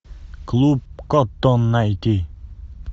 клуб коттон найти